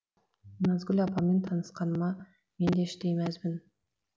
назгүл апамен танысқаныма мен де іштей мәзбін